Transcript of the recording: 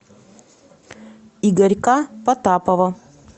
игорька потапова